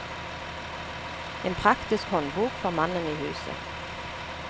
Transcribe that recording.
En praktisk håndbok for mannen i huset.